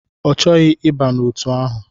Ọ chọghị ịba n'otu ahụ.